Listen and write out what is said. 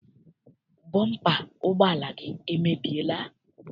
Bọmpa ụgbọala gị emebiela?